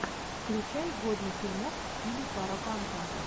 включай годный фильмок в стиле парапанка